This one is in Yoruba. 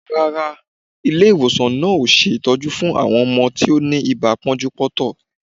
Rárá, ilé-ìwòsan náà ò ṣe ìtọ́jú fún àwọn ọmọ tí ó ní ibà pọ́njú-pọ́ntọ̀.